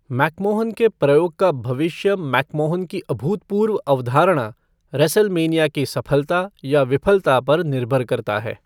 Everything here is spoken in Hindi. मैकमोहन के प्रयोग का भविष्य मैकमोहन की अभूतपूर्व अवधारणा, रेसलमेनिया की सफलता या विफलता पर निर्भर करता है।